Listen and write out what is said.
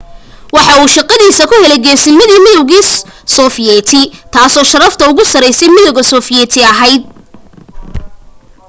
waxa uu shaqadiisa ku helay geesinamadii midowgii sofiyeeti taasoo sharafta ugu sarraysay midowga sofiyeeti ahayd